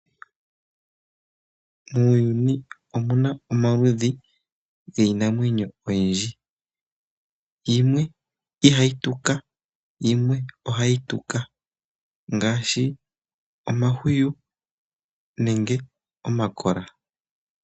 Muuyuni omuna omaludhi giinamwenyo ogendji. Yimwe ihayi tuka , yimwe ohayi tuka ngaashi omahwiyu nenge omakola.